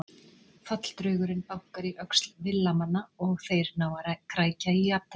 Falldraugurinn bankar í öxl Villa-manna og þeir ná að krækja í jafntefli.